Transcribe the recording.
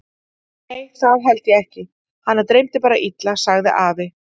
Nei það held ég ekki, hana dreymdi bara illa sagði afi.